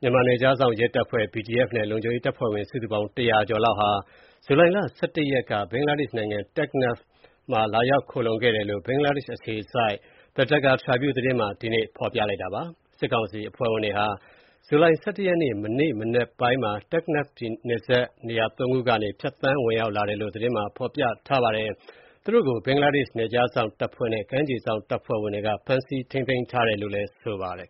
မြန်မာနယ်ခြားစောင့်ရဲတပ်ဖွဲ့ (BGF) နဲ့ လုံခြုံရေးတပ်ဖွဲ့ဝင် စုစုပေါင်း တရာကျော်လောက်ဟာ ဇူလိုင်လ (၁၁) ရက်က ဘင်္ဂလားဒေ့ရှ်နိုင်ငံ တက်ခ်နက်ဖ်မှာ လာရောက်ခိုလှုံခဲ့တယ်လို့ ဘင်္ဂလားဒေ့ရှ်အခြေစိုက် The Dhaka Tribune သတင်းမှာ ဒီကနေ့ ဖော်ပြထားပါတယ်။ စစ်ကောင်စီတပ်ဖွဲ့ဝင်တွေဟာ ဇူလိုင် ၁၁ ရက်နေ့ မနေ့ မနက်ပိုင်းမှာ တက်ခ်နက်ဖ်နယ်စပ် နေရာသုံးခုကနေ ဖြတ်သန်းဝင်ရောက်လာတာလို့ သတင်းမှာဖော်ပြထားပါတယ်။ သူတို့ကိုဘင်္ဂလားဒေ့ရှ် နယ်ခြားစောင်တပ်ဖွဲ့နဲ့ ကမ်းခြေစောင့်တပ်ဖွဲ့ဝင်တွေက ဖမ်းဆီးထိန်းသိမ်းထားတယ်လို့လည်း ဆိုပါတယ်